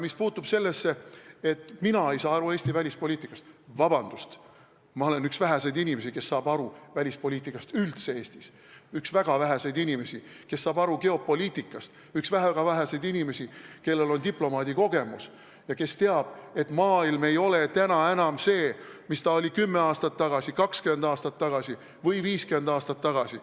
Mis puutub sellesse, et mina ei saavat aru Eesti välispoliitikast, siis vabandust, ma olen üks väheseid inimesi üldse Eestis, kes välispoliitikast aru saab, üks väga väheseid inimesi, kes saab aru geopoliitikast, üks väga väheseid inimesi, kellel on diplomaadikogemus ja kes teab, et maailm ei ole täna enam see, mis ta oli 10 aastat tagasi, 20 aastat tagasi või 50 aastat tagasi.